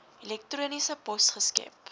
elektroniese pos geskep